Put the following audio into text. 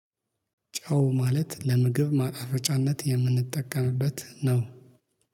ጨው ማለት ለምግብ ማጣፈጫነት የምንጠቀምበት ነው።